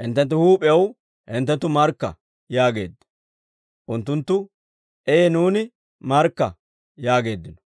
hinttenttu huup'iyaw hinttenttu markka» yaageedda. Unttunttu, «Ee nuuni markka!» yaageeddino.